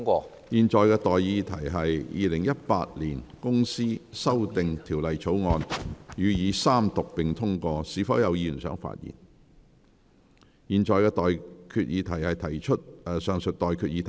我現在向各位提出的待議議題是：《2018年公司條例草案》予以三讀並通過。是否有議員想發言？我現在向各位提出上述待決議題。